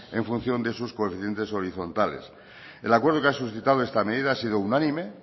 en función de sus coeficientes horizontales el acuerdo que ha suscitado esta medida ha sido unánime